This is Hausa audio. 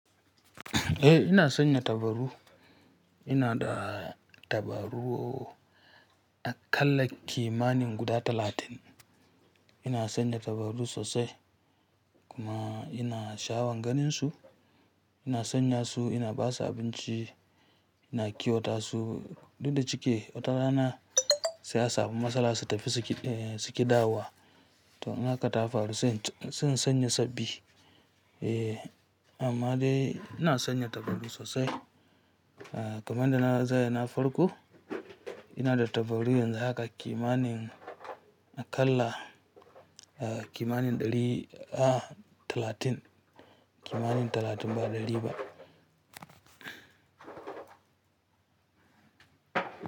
Eh ina sanya tabaru. Ina da tabaru a kalan kimanin guda talatin. Ina sanya tabaru sosai kuma ina sha'awan ganinsu, ina sanya su, ina basu abinci, ina kiwata su duk da cike wata rana sai a samu matsala su tafi su ki, su ƙi dawowa. To in haka ta faru sai, sai sanya sabbi. Eh amma dai ina sanya tabaru sosai. A, kamar da na zauna farko ina da tabaru yanzu haka kimanin a kalla, a kimanin ɗari, a talatin, kimanin talatin ba ɗari ba.